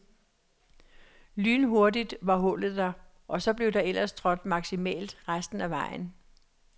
Lynhurtigt var hullet der, og så blev der ellers trådt maksimalt resten af vejen.